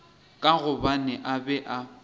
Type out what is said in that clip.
ka gobane a be a